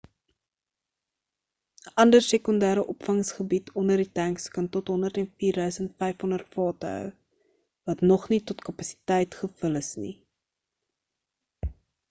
'n ander sekondêre opvangsgebied onder die tanks kan tot 104,500 vate hou wat nog nie tot kapasiteit gevul is nie